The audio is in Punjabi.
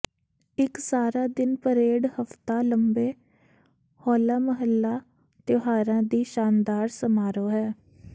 ਇੱਕ ਸਾਰਾ ਦਿਨ ਪਰੇਡ ਹਫ਼ਤਾ ਲੰਬੇ ਹੋਲਾ ਮਹੱਲਾ ਤਿਉਹਾਰਾਂ ਦੀ ਸ਼ਾਨਦਾਰ ਸਮਾਰੋਹ ਹੈ